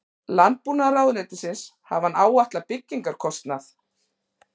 Landbúnaðarráðuneytisins hafi hann áætlað byggingarkostnað